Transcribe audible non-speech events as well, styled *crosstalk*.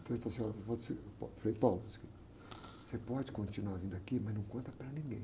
Então ele falou assim, olha, *unintelligible* você pode continuar vindo aqui, mas não conta para ninguém.